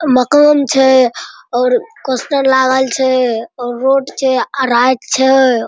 मकान छै और पोस्टर लागल छै और रोड छै आ रात छै।